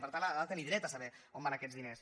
per tant ha de tenir dret a saber on van aquests diners